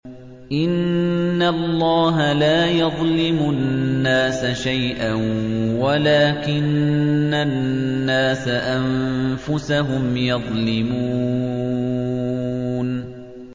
إِنَّ اللَّهَ لَا يَظْلِمُ النَّاسَ شَيْئًا وَلَٰكِنَّ النَّاسَ أَنفُسَهُمْ يَظْلِمُونَ